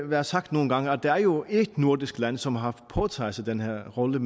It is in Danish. været sagt nogle gange at der jo er ét nordisk land som har påtaget sig den her rolle